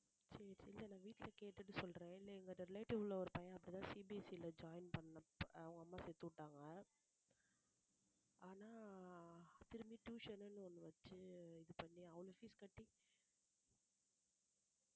சரி ச~ இல்ல இல்ல நான் வீட்டுல கேட்டுட்டு சொல்றேன் இல்ல எங்க relative ல ஒரு பையன் அப்படிதான் CBSE ல join பண்ணான் அவங்க அம்மா சேத்து விட்டாங்க ஆனா திரும்பி tuition ன்னு ஒண்ணு வச்சு இது பண்ணி fees கட்டி